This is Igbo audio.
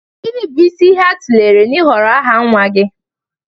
Gịnị bụ isi ihe a tụlere n'ịhọrọ aha nwa gị?